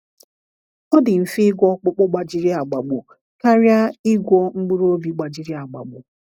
“Ọ dị mfe ịgwọ ọkpụkpụ gbajiri agbagbu karịa ịgwọ mkpụrụ obi gbajiri agbagbu.”